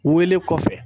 Wele kɔfɛ